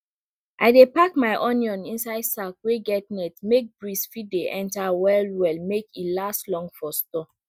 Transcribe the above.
i dey pack my onion inside sack wey get net make breeze fit dey enter well well make e last long for store